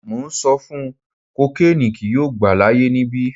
Mo n sọ fun ọ kokiini kii yoo gba laaye nibi